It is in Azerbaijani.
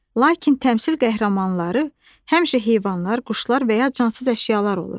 Lakin təmsil qəhrəmanları həmişə heyvanlar, quşlar və ya cansız əşyalar olur.